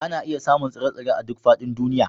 Ana iya samun tsire-tsire a duk faɗin duniya